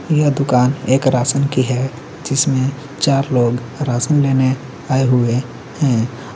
ये दुकान एक राशन की है जिसमें चार लोग राशन लेने आए हुए हैं और--